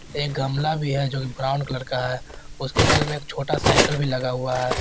एक गमला भी है जो ब्राऊन कलर का है उसके बगल में एक छोटा साइकल भी लगा हुआ है।